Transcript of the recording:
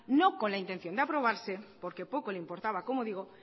no con la intención de aprobarse porque poco le importaba como digo